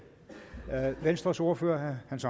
venstres ordfører herre hans